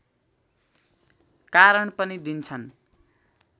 कारण पनि दिन्छन्